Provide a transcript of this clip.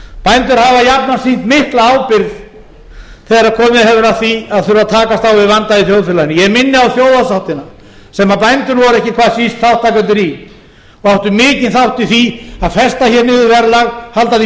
bændur hafa jafnan sýnt mikla ábyrgð þegar komið hefur að því að takast á við vanda í þjóðfélaginu ég minni á þjóðarsáttina sem bændur voru ekki hvað síst þátttakendur í og áttu mikinn þátt í því að festa niður verðlag halda því